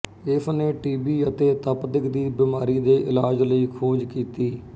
ਇਸ ਨੇ T B ਅਤੇ ਤਪਦਿਕ ਦੀ ਬਿਮਾਰੀ ਦੇ ਇਲਾਜ ਲਈ ਖੋਜ ਕੀਤੀ